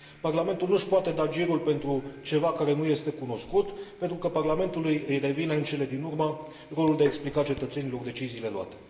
Parlamentul nu și poate da girul pentru ceva care nu este cunoscut, pentru că Parlamentului îi revine în cele din urmă rolul de a explica cetățenilor deciziile luate.